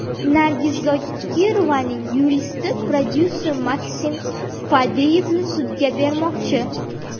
Nargiz Zokirovaning yuristi prodyuser Maksim Fadeyevni sudga bermoqchi.